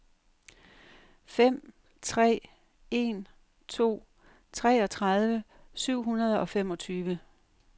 fem tre en to treogtredive syv hundrede og femogtyve